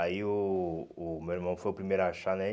Aí o o meu irmão foi o primeiro a achar, né?